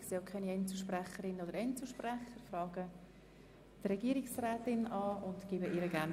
Ich sehe auch keine Einzelsprecherinnen und Einzelsprecher.